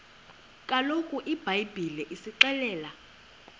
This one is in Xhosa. kaloku ibhayibhile isixelela